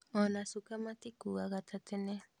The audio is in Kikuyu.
Ona shuka matikuuaga ta tene